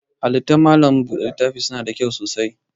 Halittan malam buɗe littafi na da kyau sosai.